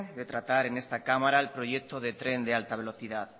de tratar en esta cámara el proyecto de tren de alta velocidad